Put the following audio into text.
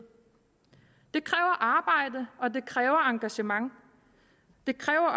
det kræver arbejde og det kræver engagement det kræver